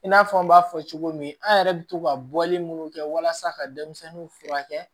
I n'a fɔ an b'a fɔ cogo min an yɛrɛ bɛ to ka bɔli minnu kɛ walasa ka denmisɛnninw furakɛ